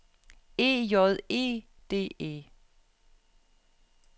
E J E D E